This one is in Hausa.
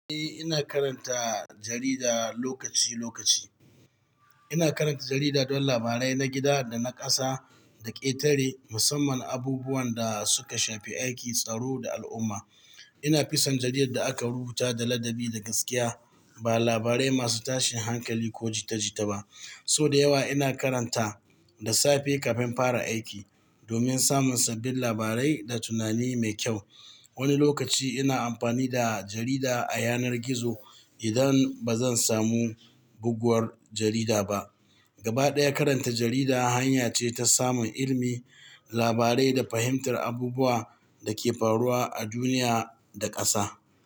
Eh, ina karanta jarida lokaci lokaci. Ina karanta jarida don labarai na gida da na ƙasa da ƙetare, musamman abubuwan da suka shafi aiki, tsaro da al'umma. Ina fisan jaridar da aka rubuta da ladabi da gaskiya, ba labarai masu tashin hankali ko jita jita ba. Sau da yawa ina karanta da safe kafin infara aiki domin samun sabbin labarai da tunani mai kyau. Wani lokaci ina amfani da jarida a yanar gizo idan bazan samu goguwar jarida. Gabaɗaya karanta jarida hanya ce ta samun ilimi, labarai da fahimtar abubuwan da ke faruwa a duniya da ƙasa.